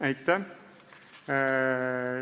Aitäh!